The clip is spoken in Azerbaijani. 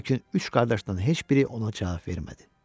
Lakin üç qardaşdan heç biri ona cavab vermədi.